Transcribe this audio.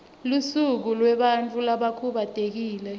lusuku lwebantfu labakhubatekile